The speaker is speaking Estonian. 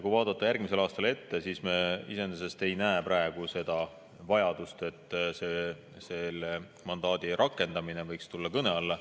Kui vaadata järgmisesse aastasse ette, siis me ei näe praegu seda vajadust, et selle mandaadi rakendamine võiks tulla kõne alla.